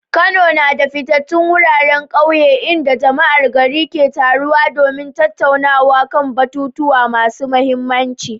Kano na da fitattun wuraren kauye inda jama'ar gari ke taruwa domin tattaunawa kan batutuwa masu mahimmanci.